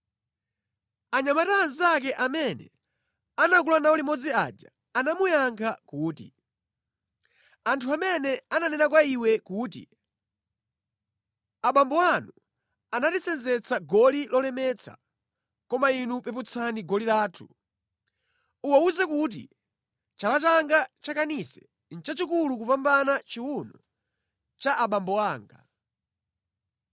Anyamata anzake amene anakula nawo limodzi aja anamuyankha kuti, “Anthu amene ananena kwa iwe kuti, ‘Abambo anu anatisenzetsa goli lolemetsa, koma inu peputsani goli lathu,’ uwawuze kuti ‘Chala changa chakanise nʼchachikulu kupambana chiwuno cha abambo anga.